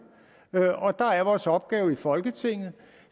og dér er vores opgave i folketinget